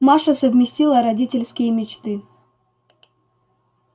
маша совместила родительские мечты